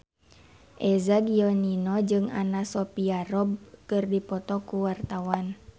Eza Gionino jeung Anna Sophia Robb keur dipoto ku wartawan